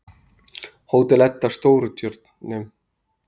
Hótel Edda Stórutjörnum